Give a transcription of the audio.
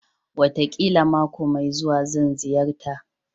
Wataƙila mako mai zuwa, zan ziyarta